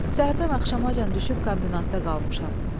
Səhərdən axşamacan düşüb kombinatda qalmışam.